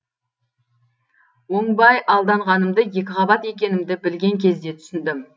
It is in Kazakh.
оңбай алданғанымды екіқабат екенімді білген кезде түсіндім